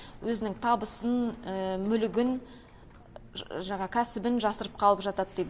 өзінің табысын мүлігін жаңағы кәсібін жасырып қалып жатады дейді